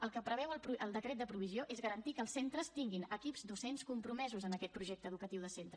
el que preveu el decret de provisió és garantir que els centres tinguin equips docents compromesos amb aquest projecte educatiu de centre